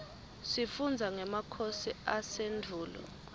sifundza ngemakhosi asendvulo